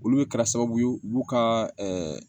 Olu bɛ kɛra sababu ye u b'u ka